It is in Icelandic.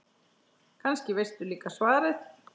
Kannski veistu líka svarið.